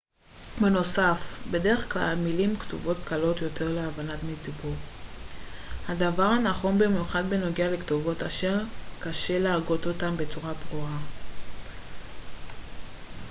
בנוסף בדרך כלל מילים כתובות קלות יותר להבנה מדיבור הדבר נכון במיוחד בנוגע לכתובות אשר קשה להגות אותן בצורה ברורה